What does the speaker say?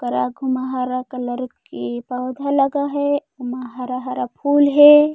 ओकर आगू म हरा कलर के पौधा लगा है ओमा हरा-हरा फूल हे।